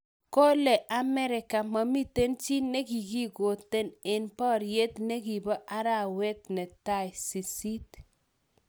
Kole america momiten chi nekigigoten en poriet negipo arawet netai 8.